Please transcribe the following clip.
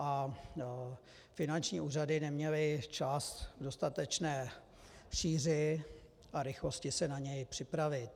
A finanční úřady neměly čas k dostatečné šíři a rychlosti se na ně připravit.